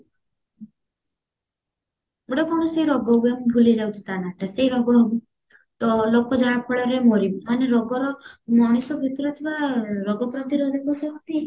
ଗୋଟେ କଣ ସେଇ ରୋଗ ହୁଏ ମୁଁ ଭୁଲି ଯାଉଚି ତା ନାଁଟା ସେଇ ରୋଗ ହବ ତ ଲୋକ ଯାହା ଫଳରେ ମରିବେ ମାନେ ରୋଗର ମଣିଷ ଭିତରେ ଥିବା ରୋଗ ପ୍ରତିରୋଧକ ଶକ୍ତି